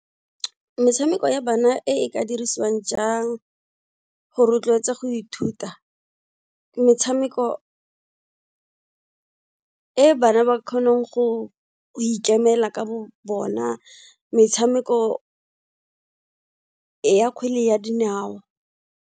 Metshameko ya bana e ka dirisiwang jang go rotloetsa go ithuta, metshameko e bana ba kgonang go ikemela ka bo bona, metshameko ya kgwele ya dinao.